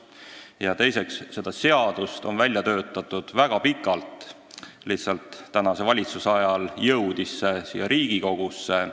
Ja teiseks, seda eelnõu on välja töötatud väga pikalt, lihtsalt praeguse valitsuse ajal jõudis see siia Riigikogusse.